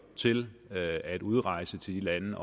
til at udrejse til de lande